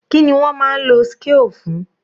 Kíni wọ́n máa ń lo scale fún?